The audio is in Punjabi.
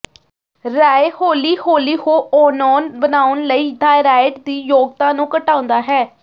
ਰਾਏ ਹੌਲੀ ਹੌਲੀ ਹੌਓਨੌਨ ਬਣਾਉਣ ਲਈ ਥਾਇਰਾਇਡ ਦੀ ਯੋਗਤਾ ਨੂੰ ਘਟਾਉਂਦਾ ਹੈ